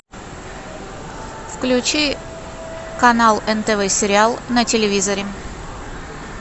включи канал нтв сериал на телевизоре